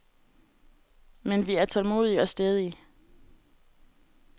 Men vi er tålmodige og stædige.